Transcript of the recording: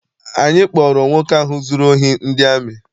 Anyị kpọọrọ nwoke ahụ zụrụ ohi ndị amị.